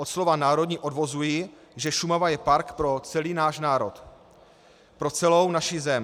Od slova národní odvozuji, že Šumava je park pro celý náš národ, pro celou naši zem.